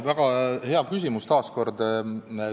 Väga hea küsimus taas kord.